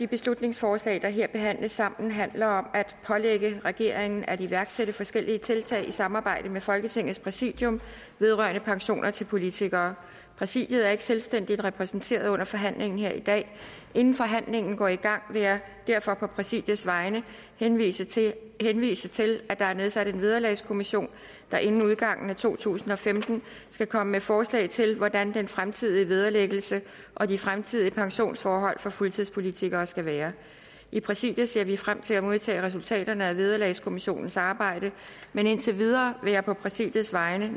beslutningsforslag der her behandles sammen handler om at pålægge regeringen at iværksætte forskellige tiltag i samarbejde med folketingets præsidium vedrørende pensioner til politikere præsidiet er ikke selvstændigt repræsenteret under forhandlingen her i dag inden forhandlingen går i gang vil jeg derfor på præsidiets vegne henvise til henvise til at der er nedsat en vederlagskommission der inden udgangen af to tusind og femten skal komme med forslag til hvordan den fremtidige vederlæggelse og de fremtidige pensionsforhold for fuldtidspolitikere skal være i præsidiet ser vi frem til at modtage resultaterne af vederlagskommissionens arbejde men indtil videre vil jeg på præsidiets vegne